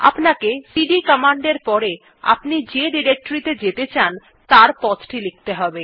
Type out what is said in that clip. আপনাকে CD command এর পরে আপনি যে ডিরেক্টরী ত়ে যেতে চান তার পথ টি লিখতে হবে